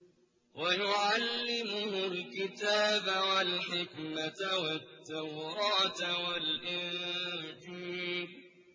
وَيُعَلِّمُهُ الْكِتَابَ وَالْحِكْمَةَ وَالتَّوْرَاةَ وَالْإِنجِيلَ